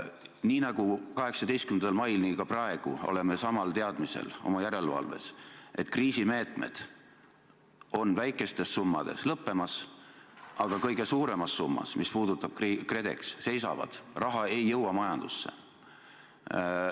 Nii nagu 18. mail, oleme ka praegu oma järelevalves samal teadmisel, et kriisimeetmed on väikestes summades lõppemas, aga kõige suuremad summad – see puudutab KredExit – seisavad, raha ei jõua majandusse.